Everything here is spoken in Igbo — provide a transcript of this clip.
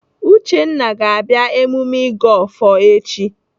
Uchenna ga-abịa emume ịgọ ọfọ echi.